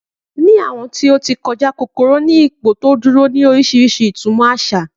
Ni awọn ti o ti kọja kokoro ni ipoduduro orisirisi asa itumo.